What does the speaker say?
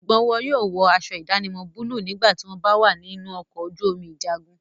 Sùgbọ́n wọn yóò wọ aṣọ ìdánimọ̀ búlúù nígbà tí wọ́n bá wà ní inú ọkọ̀ ojú omi ìjagun.